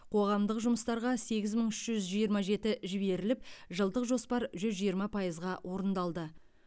қоғамдық жұмыстарға сегіз мың үш жүз жиырма жеті жіберіліп жылдық жоспар жүз жиырма пайызға орындалды